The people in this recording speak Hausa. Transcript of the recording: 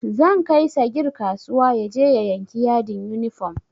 Zan kai sagir kasuwa yaje ya yanki yadin yunifom